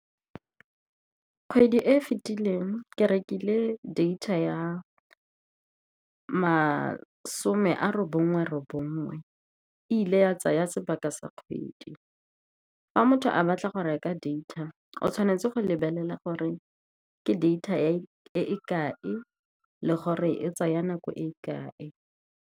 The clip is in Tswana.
Kgwedi e e fetileng ke rekile data ya masome a robongwe robongwe, e ile ya tsaya sebaka sa kgwedi. Fa motho a batla go reka data, o tshwanetse go lebelela gore ke data e kae le gore e tsaya nako e kae.